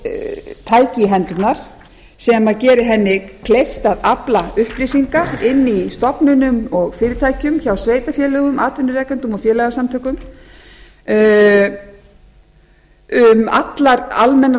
tæki í hendurnar sem geri henni kleift að afla upplýsinga inni í stofnunum og fyrirtækjum hjá sveitarfélögum atvinnurekendum og félagasamtökum um allar almennar og